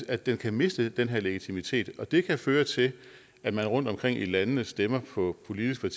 at den kan miste den her legitimitet og det kan føre til at man rundtomkring i landene stemmer på politiske